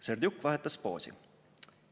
Serdjuk vahetas poosi.